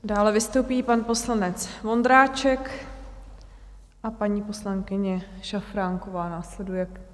Dále vystoupí pan poslanec Vondráček a paní poslankyně Šafránková následuje.